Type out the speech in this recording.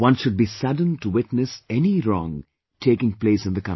One should be saddened to witness any wrong taking place in the country